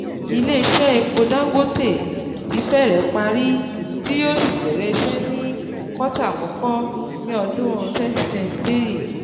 ilé iṣẹ́ epo Dangote ti fẹ́rẹ̀ parí, tí yóò sì bẹ̀rẹ̀ iṣẹ́ ní kọ́tà àkọ́kọ́ ní ọdún twenty twenty three